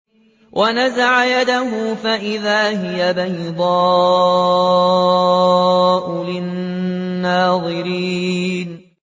وَنَزَعَ يَدَهُ فَإِذَا هِيَ بَيْضَاءُ لِلنَّاظِرِينَ